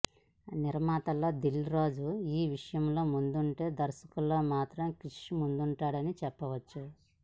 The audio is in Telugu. నిర్మాతల్లో దిల్ రాజు ఈ విషయంలో ముందుంటే దర్శకుల్లో మాత్రం క్రిష్ ముందుంటాడని చెప్పచ్చు